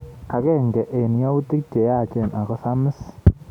Agenge eng yautik che yaach ako samis